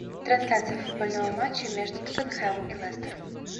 трансляция футбольного матча между тоттенхэм и лестер